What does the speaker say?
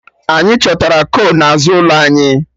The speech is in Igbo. Anyị chọtara kol n'azụ ụlọ anyị